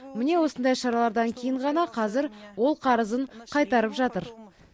міне осындай шаралардан кейін ғана қазір ол қарызын қайтарып жатыр